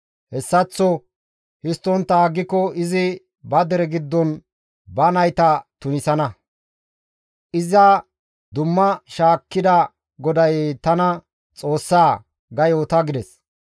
Hessaththo histtontta aggiko izi ba dere giddon ba nayta tunisana; iza dumma shaakkida GODAY tana Xoossaa› ga yoota» gides.